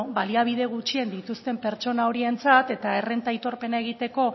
ba bueno baliabide gutxien dituzten pertsona horientzat eta errenta aitorpena egiteko